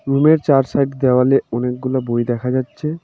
রুমের চার সাইড দেওয়ালে অনেকগুলা বই দেখা যাচ্ছে.